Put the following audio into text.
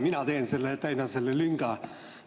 Mina teen seda, täidan selle lünga.